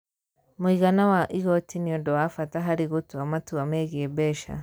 Mũigana wa igooti nĩ ũndũ wa bata harĩ gũtua matua megiĩ mbeca.